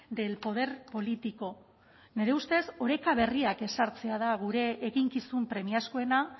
del poder político nire ustez oreka berriak ezartzea da gure eginkizun premiazkoena